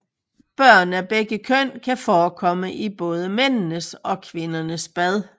Børn af begge køn kan forekomme i både mændenes og kvindernes bad